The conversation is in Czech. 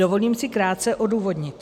Dovolím si krátce odůvodnit.